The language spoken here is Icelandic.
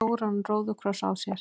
stóran róðukross á sér.